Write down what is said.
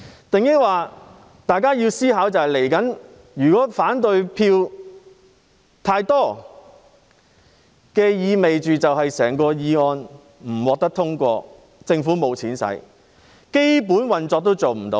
大家要思考一下，如果反對票太多，意味着整項議案不會獲得通過，政府部門便無錢可用，連基本運作都不行。